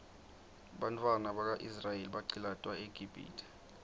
bantfwana baka israel baqcilatwa eqibhitue